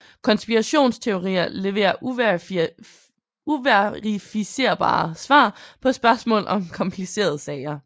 Konspirationsteorier leverer uverificerbare svar på spørgsmål om komplicerede sager